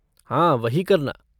हाँ, वही करना।